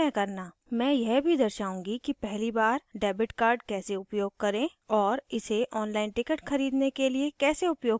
मैं यह भी दर्शाऊंगी कि पहली बार debit card कैसे उपयोग करें और इसे online ticket खरीदने के लिए कैसे उपयोग करें